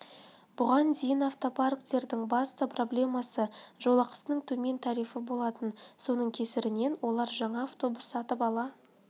бұған дейін автопаркттердің басты проблемасы жолақысының төмен тарифі болатын соның кесірінен олар жаңа автобус сатып ала